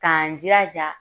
K'an jilaja